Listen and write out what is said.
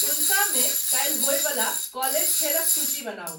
टूलसा मे काल्हि होइ बला कॉलेज खेलक सूची बनाऊ